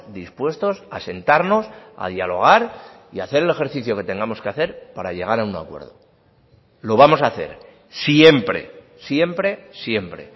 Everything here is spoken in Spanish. dispuestos a sentarnos a dialogar y hacer el ejercicio que tengamos que hacer para llegar a un acuerdo lo vamos a hacer siempre siempre siempre